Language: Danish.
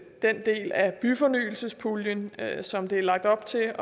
byfornyelsespuljen som det er lagt op til